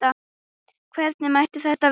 Hvernig mætti það vera?